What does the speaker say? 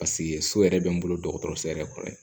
Paseke so yɛrɛ bɛ n bolo dɔgɔtɔrɔso yɛrɛ kɔrɔ ye